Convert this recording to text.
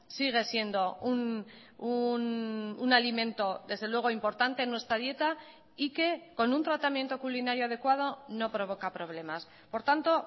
sigue siendo un alimento desde luego importante en nuestra dieta y que con un tratamiento culinario adecuado no provoca problemas por tanto